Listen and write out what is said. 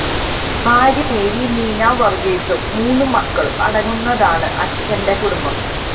ഭാര്യ മേരി നീന വർഗ്ഗിസും മൂന്ന് മക്കളും അടങ്ങുന്നതാണ് അച്ചന്റെ കുടുംബം